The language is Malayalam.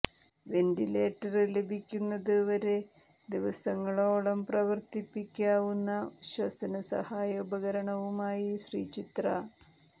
വെന്റിലേറ്റര് ലഭിക്കുന്നത് വരെ ദിവസങ്ങളോളം പ്രവര്ത്തിപ്പിക്കാവുന്ന ശ്വസന സഹായ ഉപകരണവുമായി ശ്രീചിത്ര